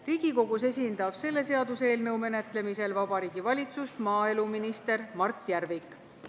Riigikogus esindab selle seaduseelnõu menetlemisel Vabariigi Valitsust maaeluminister Mart Järvik.